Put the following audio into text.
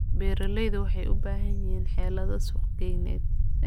Beeraleydu waxay u baahan yihiin xeelado suuqgeyneed.